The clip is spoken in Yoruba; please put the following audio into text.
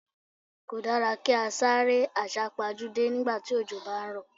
Kò dára kí á sáré àsá pajúdé nígbà tí òjò bá ń rọ̀.